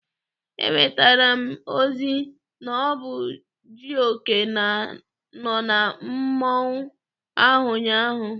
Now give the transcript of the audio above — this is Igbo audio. Enwetara m ozi na ọ bụ Jioke nọ na mmọnwụ ahụ ụnyaahụ.